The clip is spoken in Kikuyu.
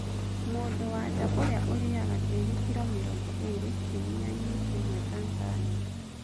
Mũndũwa nja ũrĩa ũrĩaga tĩri kiro mĩrongo ĩrĩ kiumĩa- inĩ kĩmwe Tanzania.